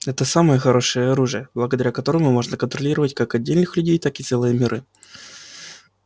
это самое хорошее оружие благодаря которому можно контролировать как отдельных людей так и целые миры